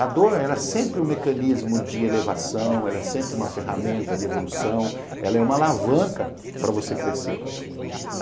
A dor, ela é sempre um mecanismo de elevação, ela é sempre uma ferramenta de evolução, ela é uma alavanca para você crescer.